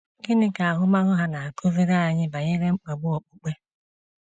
Gịnị ka ahụmahụ ha na-akụziri anyị banyere mkpagbu okpukpe?